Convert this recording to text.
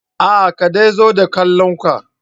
Aa ka dai zo da kallon ka.